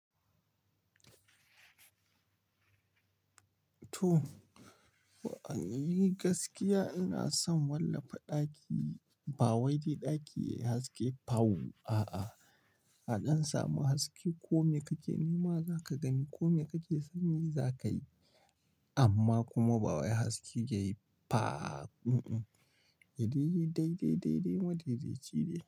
To a ni gaskiya ina son wallafa ɗaki ba wai dai ɗaki yayi haske fau a'a. Aɗan samu haske kome kake nema zaka gani, kome kake sani zakayi amma kuma ba wai haske yayi fa. Mm-mm. Ya yi dai, dai, dai, dai, madai dai cide.